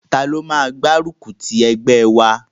Taló máa máa gbárùkù ti ẹgbẹ́ wa?